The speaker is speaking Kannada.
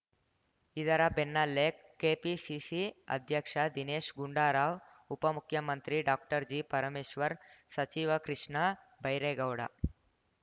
ಇದರ ಬೆನ್ನಲ್ಲೇ ಕೆಪಿಸಿಸಿ ಅಧ್ಯಕ್ಷ ದಿನೇಶ್‌ ಗುಂಡಾರಾವ್‌ ಉಪ ಮುಖ್ಯಮಂತ್ರಿ ಡಾಕ್ಟರ್ಜಿ ಪರಮೇಶ್ವರ್‌ ಸಚಿವ ಕೃಷ್ಣ ಬೈರೇಗೌಡ